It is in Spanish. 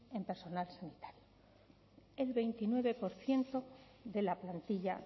en personal sanitario el veintinueve por ciento de la plantilla